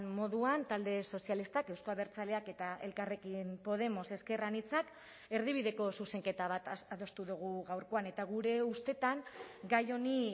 moduan talde sozialistak euzko abertzaleak eta elkarrekin podemos ezker anitzak erdibideko zuzenketa bat adostu dugu gaurkoan eta gure ustetan gai honi